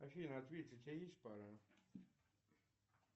афина ответь у тебя есть пара